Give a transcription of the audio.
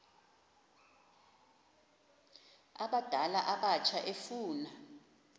abadala abatsha efuna